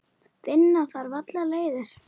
Finna þarf aðrar leiðir.